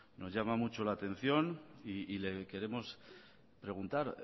nos llama mucho la atención y le queremos preguntar